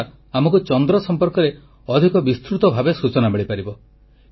ଏହାଦ୍ୱାରା ଆମକୁ ଚନ୍ଦ୍ର ସମ୍ପର୍କରେ ଅଧିକ ବିସ୍ତୃତ ଭାବେ ସୂଚନା ମିଳିପାରିବ